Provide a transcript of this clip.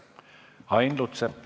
Ain Lutsepp.